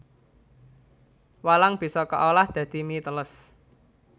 Walang bisa kaolah dadi mie teles